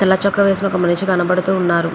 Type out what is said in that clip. తెల్ల చొక్కా వేసుకున్న మనిషి కనబడుతున్నారు.